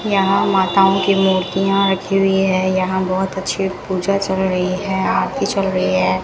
यहां माताओं की मूर्तियां रखी हुईं है यहां बहुत अच्छी पूजा चल रही है आरती चल रही है।